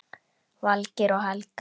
Valgeir og Helga.